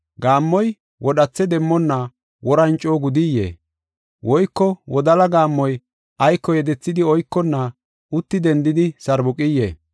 Gaammoy wodhathe demmonna woran coo gudiyee? Woyko wodala gaammoy ayko yedethidi oykonna uti dendidi sarbuqiyee?